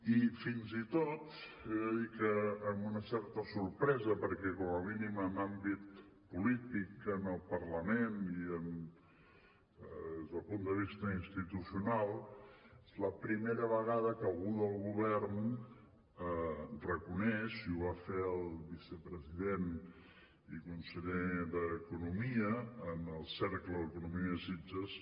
i fins i tot he de dir que amb una certa sorpresa perquè com a mínim en àmbit polític en el parlament i des del punt de vista institucional és la primera vegada que algú del govern reconeix i ho va fer el vicepresident i conseller d’economia en el cercle d’economia de sitges